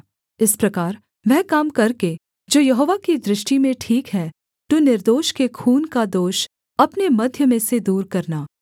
इस प्रकार वह काम करके जो यहोवा की दृष्टि में ठीक है तू निर्दोष के खून का दोष अपने मध्य में से दूर करना